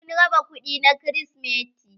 Sun raba kuɗi na krisimeti.